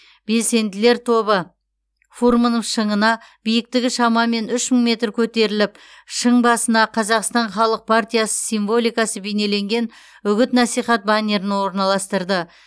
белсенділер тобы фурмынов шыңына биіктігі шамамен үш мың метр көтеріліп шың басына қазақстан халық партиясы символикасы бейнеленген үгіт насихат баннерін орналастырды